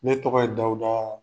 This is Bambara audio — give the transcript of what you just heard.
Ne tɔgɔ ye Dawudaa